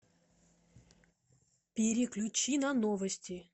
переключи на новости